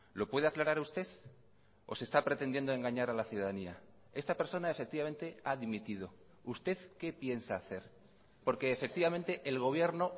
lo puede aclarar usted o se está pretendiendo engañar a la ciudadanía esta persona efectivamente ha dimitido usted qué piensa hacer porque efectivamente el gobierno